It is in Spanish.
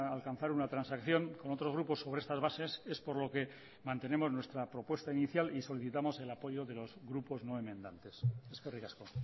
alcanzar una transacción con otros grupos sobre estas bases es por lo que mantenemos nuestra propuesta inicial y solicitamos el apoyo de los grupos no enmendantes eskerrik asko